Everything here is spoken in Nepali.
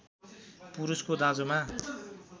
पुरुषको दाँजोमा